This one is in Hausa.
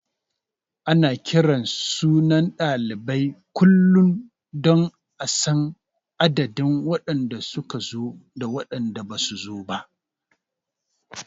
Ana kiran sunan ɗalibai kullum don a san adadin waɗanda su ka zo da waɗanda basu zo ba.